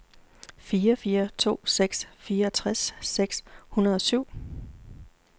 fire fire to seks fireogtres seks hundrede og syv